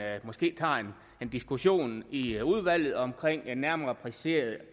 måske tager en diskussion i udvalget om en nærmere præcisering